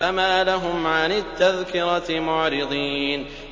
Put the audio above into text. فَمَا لَهُمْ عَنِ التَّذْكِرَةِ مُعْرِضِينَ